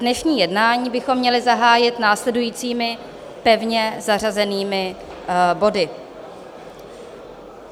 Dnešní jednání bychom měli zahájit následujícími pevně zařazenými body.